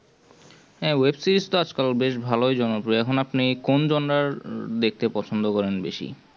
হ্যাঁ web-series তো আজকাল বেশ জনপ্রিয় এখন আপনি কোন জনার দেখতে পছন্দ করেন বেশি